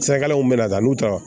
Sirakalanw bɛna taa n'u taara